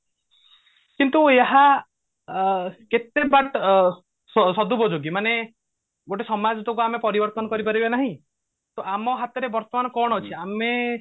କିନ୍ତୁ ଏହା ଆ କେତେ ବାଟ ଅ ସ ସଦୁପଯୋଗୀ ମାନେ ଗୋଟେ ସମାଜ ଟାକୁ ଆମେ ପରିବର୍ତନ କରି ପାରିବା ନାହିଁ ତ ଆମ ହାତରେ ବର୍ତମାନ କଣ ଅଛି ଆମେ